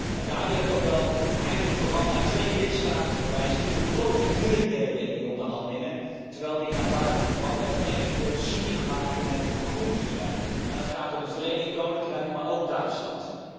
Wat dat betreft wil ik vooral naar twee lidstaten wijzen die ongelooflijk moeilijk deden in die onderhandelingen, terwijl ze naar buiten toe altijd veel goede sier maken met hoe groen ze zijn. Het gaat om het Verenigd Koninkrijk, maar ook Duitsland.